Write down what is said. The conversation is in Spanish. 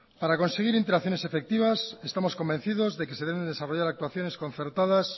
para conseguir interacciones efectivas estamos convencidos de que se deben desarrollar actuaciones concertadas